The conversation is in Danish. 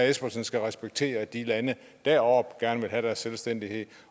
espersen skal respektere at de lande deroppe gerne vil have deres selvstændighed